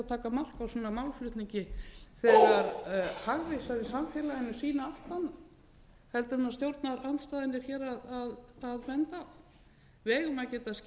taka mark á svona málflutningi þegar hagvísar í samfélaginu sýna allt annað heldur en að stjórnarandstaðan hér er að benda á við eigum að geta skipst á skoðunum